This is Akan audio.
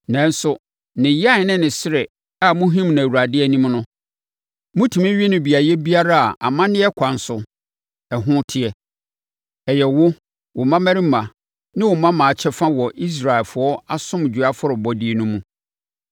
Nanso, ne yan ne ne srɛ a mohim no Awurade anim no, motumi we no beaeɛ biara a amanneɛ kwan so no ɛhɔ teɛ. Ɛyɛ wo, wo mmammarima ne wo mmammaa kyɛfa wɔ Israelfoɔ Asomdwoeɛ afɔrebɔdeɛ no mu.